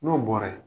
N'o bɔra ye